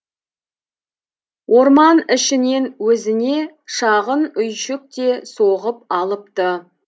орман ішінен өзіне шағын үйшік те соғып алыпты